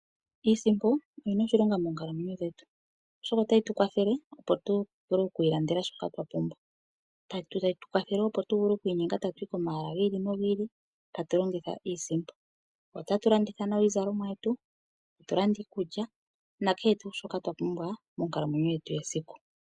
Iisimpo oyina oshilongo moonkalamwenyo dhetu. Oshoka otayi tu kwathelele opo tu vule okwi ilandela shoka twa pumbwa. Tayi tu kwathele wo opo tu vule okwi inyenga tuye komahala giili nogiili tatu longitha iisimpo. Otatu landitha nawa iizalomwa yetu. Tatu landa iikulya nakehe tushoka twa pumbwa monkalamwenyo yetu yesiku.